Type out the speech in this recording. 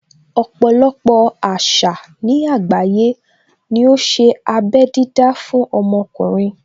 Ọpọ̀lọpọ̀ àṣà ní àgbáyé ní ó ṣe abé dídá fún ọmọkùnrin.